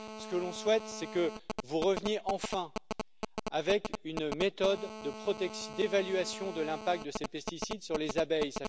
Ce que l'on souhaite, c'est que vous reveniez enfin avec une méthode d'évaluation de l'impact de ces pesticides sur les abeilles.